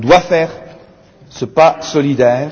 On doit faire ce pas solidaire.